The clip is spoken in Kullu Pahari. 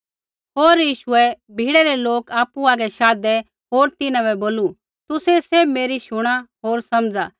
होर यीशुऐ भीड़ै रै लोक आपु हागै शाधै होर तिन्हां बै बोलू तुसै सैभ मेरी शुणा होर समझा